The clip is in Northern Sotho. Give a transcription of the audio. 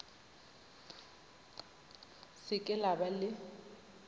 se ke la ba le